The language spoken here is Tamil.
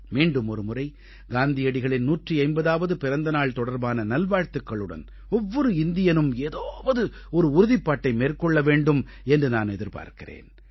மீண்டும் ஒருமுறை காந்தியடிகளின் 150ஆவது பிறந்த நாள் தொடர்பான நல்வாழ்த்துக்களுடன் ஒவ்வொரு இந்தியனும் ஏதாவது ஒரு உறுதிப்பாட்டை மேற்கொள்ள வேண்டும் என்று நான் எதிர்பார்க்கிறேன்